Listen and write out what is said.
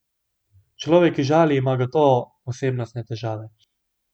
Človek, ki žali, ima gotovo osebnostne težave.